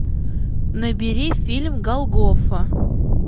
набери фильм голгофа